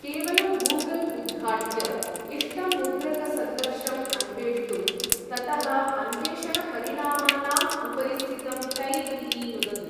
केवलं गूगल् उद्घाट्य, इष्टं मुद्रकसन्दर्शम् अन्वेष्टुम्, ततः अन्वेषणपरिणामानाम् उपरि स्थितं टैब् इति नुदतु।